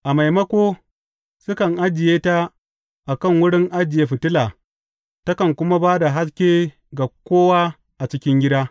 A maimako, sukan ajiye ta a kan wurin ajiye fitila, takan kuma ba da haske ga kowa a cikin gida.